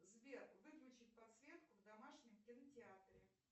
сбер выключить подсветку в домашнем кинотеатре